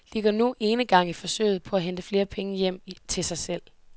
De går nu enegang i forsøget på at hente flere penge hjem til sig selv.